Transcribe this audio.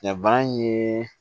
Nka bana in ye